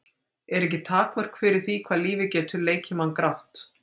Eru ekki takmörk fyrir því hvað lífið getur leikið mann grátt?